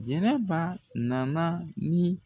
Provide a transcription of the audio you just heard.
Jɛnɛba na na ni